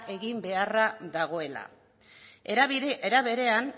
egin beharra dagoela era berean